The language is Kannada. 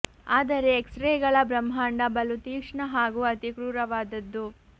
ಆದರೆ ಎಕ್ಸ್ ರೇಗಳ ಬ್ರಹ್ಮಾಂಡ ಬಲು ತೀಕ್ಷ್ಣ ಹಾಗೂ ಅತಿ ಕ್ರೂರವಾದದ್ದು